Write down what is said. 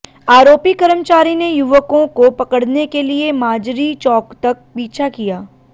आरोपी कर्मचारी ने युवकों को पकडऩे के लिए माजरी चौक तक पीछा किया